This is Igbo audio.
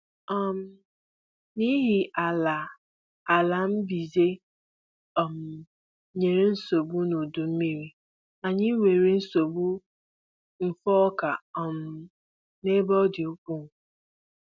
um N'ihi ala ala mbize um nyere nsogbu n'udu mmiri, anyị nwere nsogbu mfu ọka um n'ebe ọ dị ukwuu